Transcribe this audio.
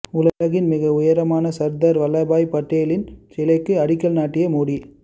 உலகின் மிக உயரமான சர்தார் வல்லபாய் படேலின் சிலைக்கு அடிக்கல் நாட்டிய மோடி